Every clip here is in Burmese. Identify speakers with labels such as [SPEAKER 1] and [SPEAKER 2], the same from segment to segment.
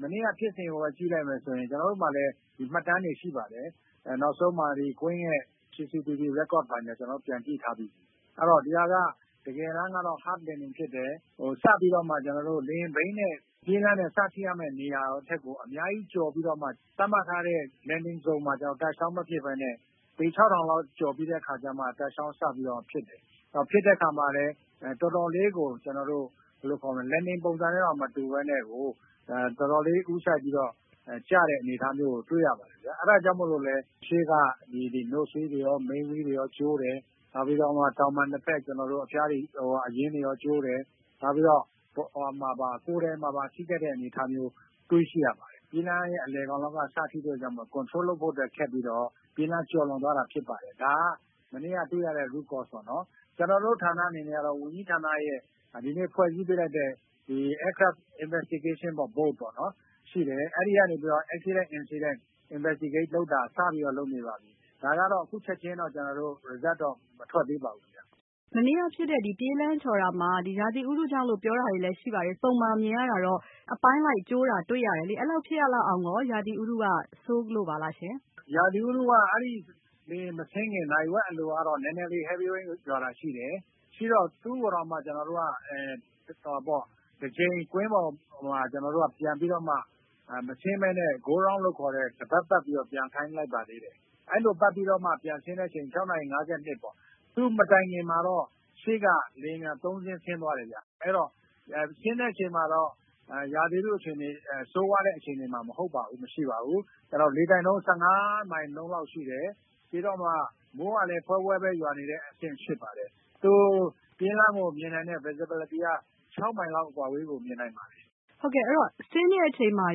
[SPEAKER 1] မနေ့က ဖြစ်စဉ်ကိုပဲ ကြည့်လိုက်မယ်ဆိုရင် ကျနော်တို့မှာလည်း မှတ်တမ်းတွေရှိပါတယ်။ နောက်ဆုံးမှာ CCTV ရက်ကော့တွေ ပြန်ကြည့်ထားပြီးပါပြီ။ အဲဒီတော့ တကယ်တမ်းက စပြီးတော့ လေယာဉ်ဘီးနဲ့ ပြေးလမ်းနဲ့ စထိရမယ့်နေရာထက် အများကြီး ကျော်ပြီးတော့မှ သတ်မှတ်ထားတဲ့ Landing ဇုံမှာ touch down မဖြစ်ပဲနဲ့ ပေ ၆၀၀၀ လောက်ကျော်ပြီးတဲ့အခါကျတော့မှ touch down စပြီးတော့ ဖြစ်တယ်။ ဖြစ်တဲ့အခါမှာလည်း တော်တော်လေးကို Landing ပုံစံနဲ့တောင်မတူပဲနဲ့ တော်တော်လေးကို ထိုးစိုက်ပြီးတော့ ကျတဲ့အနေအထားမျိုးကို တွေ့ရပါတယ်ခင်ဗျ။ အဲဒါကြောင့်မို့လို့ ရှေ့က ဘီးတွေရော ကျိုးတယ်၊ တောင်ပံနှစ်ဖက် အဖျားတွေရော အရင်းတွေရော ကျိုးတယ်။ နောက်ပြီးတော့ ကိုယ်ထည်မှာပါ ထိခိုက်တဲ့အနေအထားမျိုး တွေ့ရှိရပါတယ်။ ပြေးလမ်းရဲ့ အလယ်ကနေပြီးတော့ စဖြစ်တဲ့အတွက်ကြောင့် control လုပ်ဖို့ ခက်ပြီးတော့ ပြေးလမ်းကျော်လွန်သွားတာဖြစ်ပါတယ်။ ဒါက မနေ့က တွေ့ရတဲ့ root cause ပေ့ါနော် ။ ကျနော်တို့ ဌာနအနေနဲ့ကတော့ ဝန်ကြီးဌာနရဲ့ ဒီနေ့ ဖွဲ့စည်းပေးလိုက်တဲ့ aircraft investigation board ရှိတယ် အဲဒီကနေပြီးတော့ accident investigation လုပ်တာ စပြီးတော့ လုပ်နေပါပြီ။ ဒါကတော့ အခုချက်ချင်းတော့ result တော့ မထွက်သေးပါဘူးခင်ဗျ
[SPEAKER 2] ။ မစုမြတ်မွန်။ ။ မနေ့ကဖြစ်တဲ့ ပြေးလမ်းချော်တာမှာ ရာသီဥတုကြောင့်လို့ပြောတာတွေလည်း ရှိပါတယ်။ ပုံမှာမြင်ရတာကတော့ အပိုင်းလိုက် ကျိုးတာတွေ့ရတယ်လေ။ အဲလောက်ဖြစ်ရလောက်အောင်ရော ရာသီဥတုက ဆိုးလို့ပါလားရှင့်။ ဦးရဲထွဋ်အောင်။ ။ ရာသီဥတုကတော့ အဲဒီ
[SPEAKER 1] လေယာဉ်မဆင်းခင် နာရီဝက်အလိုကတော့ နည်းနည်းလေး Heavy rain ရွာတာရှိတယ်။ ရှိတော့ သူ့ကိုတောင်မှ ကျနော်တို့က တကြိမ်ကွင်းပေါ်မှာ မဆင်းပဲနဲ့ တပတ်ပတ်ပြီးတော့တောင်မှ ပျံခိုင်းလိုက်ပါသေးတယ်။ အဲလိုပတ်ပြီးတော့မှ ပြန်ဆင်းတဲ့အချိန်မှာ ၆နာရီ ၅၂ ပေါ့ ၊ သူ့မတိုင်ခင်မှာတော့ အရှေ့က လေယာဉ် ၃ စီး ဆင်းသွားတယ်ခင်ဗျ။ အဲဒီတော့ ဆင်းတဲ့အချိန်မှာတော့ ရာသီဥတု ဆိုးဝါးတဲ့အခြေအနေမဟုတ်ပါဘူး။ မရှိပါဘူး။ ကျနော်တို့ လေတိုက်နှုန်း ၁၅ မိုင်နှုန်းလောက်ရှိတယ်။ ပြီးတော့လည်း မိုးကလည်း ဖွဲဖွဲရွာနေတဲ့အဆင့်ဖြစ်တယ်။ သူပြေးလမ်းကို မြင်တာနဲ့ visibility က ၆ မိုင်လောက်အကွာအဝေးကို မြင်နိုင်ပါတယ်
[SPEAKER 2] ။ မစုမြတ်မွန်။ ။ ဆင်းတဲ့အချိန်မှာ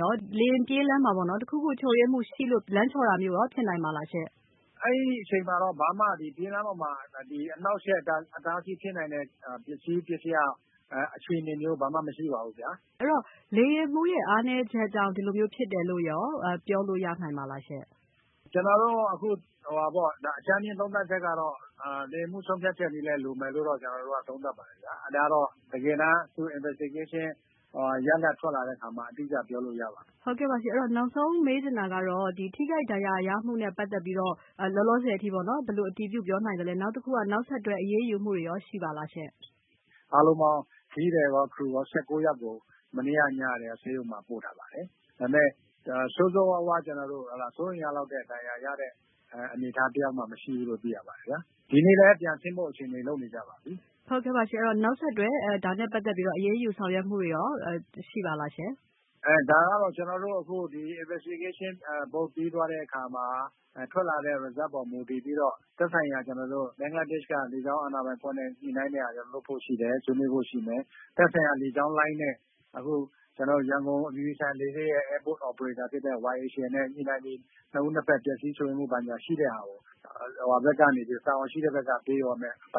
[SPEAKER 2] ရော လေယာဉ်ပြေးလမ်းမှာ တခုခု ချို့ယွင်းမှုရှိလို့ လမ်းချော်တာမျိုးရော ဖြစ်နိုင်ပါသလားရှင့်
[SPEAKER 1] ။ ဦးရဲထွဋ်အောင်။ ။ အဲဒီအချိန်မှာတော့ ပြေးလမ်းပေါ်မှာ ဘာမှ အနှောက်အယှက် အတားအဆီးဖြစ်နိုင်တဲ့ ပစ္စည်း၊ အခြေအနေမျိုးဘာမှ မရှိ ပါဘူးခင်
[SPEAKER 2] ဗျ။ မစုမြတ်မွန်။ ။ အဲဒီတော့ လေယာဉ်မှူးရဲ့ အားနည်းချက်ကြောင့် ဒီလိုမျိုးဖြစ်တယ်လို့ ပြောလို့ရနိုင်ပါသလားရှင့်။
[SPEAKER 1] ဦးရဲထွဋ်အောင်။ ။ ကျနော်တို့ အကြမ်းဖျင်းသုံးသပ်ချက်ကတော့ လေယာဉ်မှူးရဲ့ဆုံးဖြတ်ချက်လည်း လိုမယ်လို့ သုံးသပ်ပါတယ်။ ဒါကတော့ သူတို့ investigation ရလဒ်ထွက်လာတဲ့အခါမှာ အတိအကျပြောလို့ရ
[SPEAKER 2] ပါမယ်။ မစုမြတ်မွန်။ ။ နောက်ဆုံးမေးချင်တာကတော့ ထိခိုက်ဒဏ်ရာရမှုနဲ့ ပတ်သက်ပြီးတော့ လောလောဆည်အထိ ဘယ်လိုအတည်ပြုပြောနိုင်သလဲ။ နောက်တခုက နောက်ဆက်တွဲအရေးယူမှုတွေရော ရှိပါသလားရှင့်။ ဦးရဲထွဋ်အောင်
[SPEAKER 1] ။ ။ အားလုံးပေါင်း ခရီးသည်ရော crew ရော ၁၉ ယောက်ကို မနေ့ညနေက ဆေးရုံမှာ ပို့ထားပါတယ်။ ဒါပေမယ့် ဆိုးဆိုးဝါးဝါး စိုးရိမ်လောက်ရတဲ့ ဒဏ်ရာရတဲ့ အနေအထားတယောက်မှ မရှိဘူးလို့ သိရပါတယ်။ ဒီနေ့လည်း ပြန်ဆင်းဖို့အခြေအနေတွေ လုပ်နေကြပါပြီ။
[SPEAKER 2] မစုမြတ်မွန်။ ။ ဟုတ်ကဲ့ပါ နောက်ဆက်တွဲ ဒါနဲ့ ပတ်သက်ပြီးတော့ အရေးယူဆောင်ရွက်မှုတွေရော ရှိပါသလားရှင့်။ ဦးရဲထွဋ်အောင်
[SPEAKER 1] ။ ။ ဒါကတော့ ကျနော်တို့ investigation ပြီးသွားတဲ့အခါမှာ ထွက်လာတဲ့ result အပေါ်မှာ မှုတည်ပြီးတော့ ဘင်္ဂလားဒေ့ရှ်က လေကြောင်းအာဏာပိုင်အဖွဲ့နဲ့ ညှိနှိုင်းပြီး လုပ်ဖို့ရှိတယ်၊ ဆွေးနွေးဖို့ရှိမယ်။ သက်ဆိုင်ရာ လေကြောင်းလိုင်းနဲ့ ကျနော်တို့ ရန်ကုန်အပြည်ပြည်ဆိုင်ရာလေဆိပ်ရဲ့ airport operation နဲ့ ညှိနှိုင်းပြီး နှစ်ဦးနှစ်ဖက် ပျက်စီးချို့ယွင်းမှုတွေကို တာဝန်ရှိသူတွေက ပေးရမယ့်အပိုင်